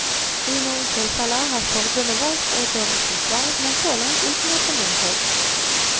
I noen tilfeller har forbundet valgt å gå rettens vei, men så langt uten å få medhold.